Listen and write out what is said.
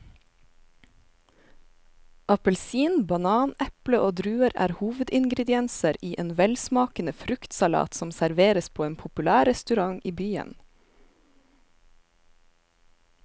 Appelsin, banan, eple og druer er hovedingredienser i en velsmakende fruktsalat som serveres på en populær restaurant i byen.